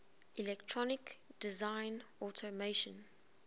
electronic design automation